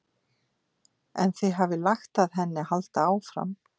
En þið hafið lagt að henni að halda áfram?